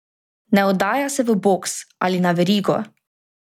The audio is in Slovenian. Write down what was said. Ne oddaja se v boks ali na verigo!